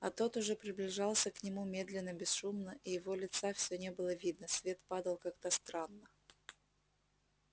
а тот уже приближался к нему медленно бесшумно и его лица всё не было видно свет падал как-то странно